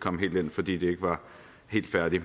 komme helt ind fordi det ikke var helt færdigt